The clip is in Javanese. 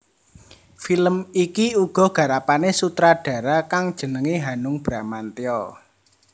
Film iki uga garapané sutradara kang jenengé Hanung Bramantyo